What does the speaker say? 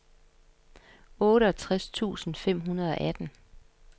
otteogtres tusind fem hundrede og atten